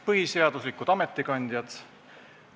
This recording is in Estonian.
Põhiseaduslikud ametikandjad!